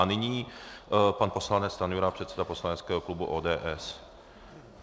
A nyní pan poslanec Stanjura, předseda poslaneckého klubu ODS.